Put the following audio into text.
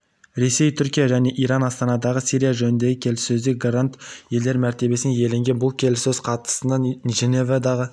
ресей түркия және иран астанадағы сирия жөніндегі келіссөзде гарант елдер мәртебесін иеленген бұл келіссөз қатысатын женевадағы